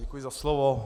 Děkuji za slovo.